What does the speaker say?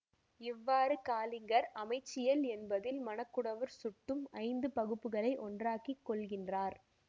இவ்வாறு காலிங்கர் அமைச்சியல் என்பதில் மணக்குடவர் சுட்டும் ஐந்து பகுப்புகளை ஒன்றாக்கிக் கொள்கின்றார்